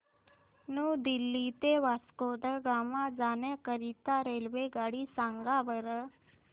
new Delhi ते वास्को द गामा जाण्या करीता रेल्वेगाडी सांगा बरं